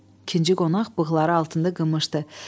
İkinci qonaq bığları altında gımışdı.